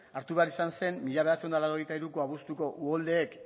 hartu behar izan zen mila bederatziehun eta laurogeita hiruko abuztuko uholdeek